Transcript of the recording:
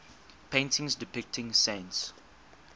paintings depicting saints